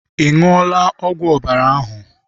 I ṅụọla ọgwụ ọbara ahụ?